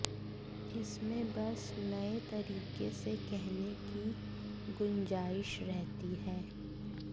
इसमें बस नए तरीके से कहने की गुंजाइश रहती है